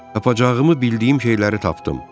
Tapacağımı bildiyim şeyləri tapdım.